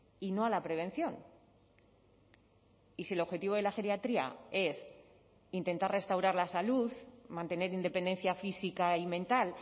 y no a la prevención y si el objetivo de la geriatría es intentar restaurar la salud mantener independencia física y mental